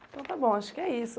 Então tá bom, acho que é isso.